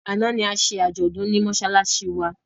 Àná ni a ṣe àjọ̀dún ní mọ́ṣáláṣí wa.